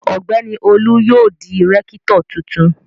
Ọ̀gbẹ́ni Olu yóò di rẹ́kítọ̀ tuntun.